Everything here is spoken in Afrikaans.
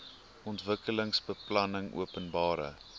ontwikkelingsbeplanningopenbare